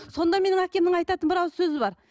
сонда менің әкемнің айтатын бір ауыз сөзі бар